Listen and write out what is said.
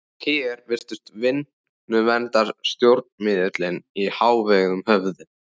Hér virtust vinnuverndarsjónarmiðin í hávegum höfð.